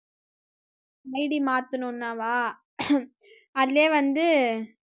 ID மாத்தணும்னாவா அதிலயே வந்து